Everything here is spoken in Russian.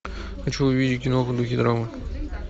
хочу увидеть киноху в духе драмы